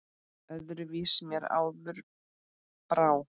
Öðru vísi mér áður brá.